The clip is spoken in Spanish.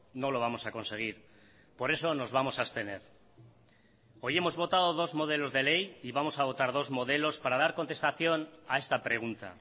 no lo vamos a conseguir por eso nos vamos a abstener hoy hemos votado dos modelos de ley y vamos a votar dos modelos para dar contestación a esta pregunta